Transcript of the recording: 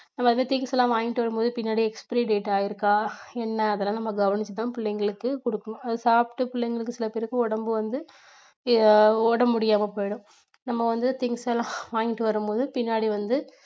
அந்த மாதிரி things எல்லாம் வாங்கிட்டு வரும்போது பின்னாடி expiry data இருக்கா என்ன அதெல்லாம் நம்ம கவனிச்சு தான் பிள்ளைங்களுக்கு கொடுக்கணும் அதை சாப்பிட்டு பிள்ளைங்களுக்கு சில பேருக்கு உடம்பு வந்து உடம்பு முடியாம போயிடும். நம்ம வந்து things எல்லாம் வாங்கிட்டு வரும்போது பின்னாடி வந்து